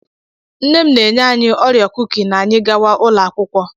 Nne m na-enye anyị orio kuki na anyị gawa ụlọ akwụkwọ.